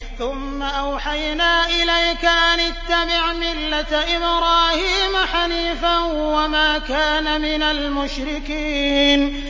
ثُمَّ أَوْحَيْنَا إِلَيْكَ أَنِ اتَّبِعْ مِلَّةَ إِبْرَاهِيمَ حَنِيفًا ۖ وَمَا كَانَ مِنَ الْمُشْرِكِينَ